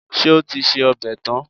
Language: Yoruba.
Ṣé o ti se ọbẹ̀ tán?